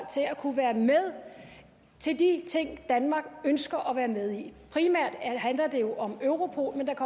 til til de ting danmark ønsker at være med i primært handler det jo om europol men der